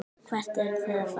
Hvert eruð þið að fara?